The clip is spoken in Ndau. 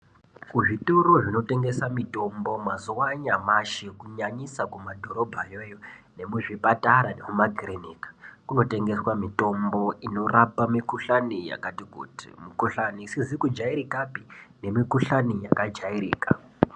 Kuzvitoro zvinotengesa mitombo mazuva anyamashi kunyanyisa kumadhorobhayoyo nemuzvipatara nemumakiriniki kunotengeswa mitombo inorapa mikuhlani yakati kuti mikuhlani isikazikujairikapi nemikuhlani yakajairika .